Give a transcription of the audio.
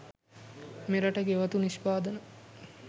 මෙරට ගෙවතු නිෂ්පාදන